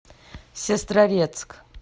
сестрорецк